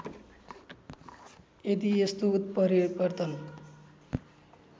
यदि यस्तो उत्परिवर्तन